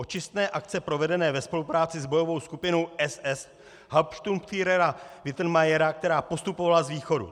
Očistné akce provedené ve spolupráci s bojovou skupinou SS Hauptsturmführera Wittenmayera, která postupovala z východu.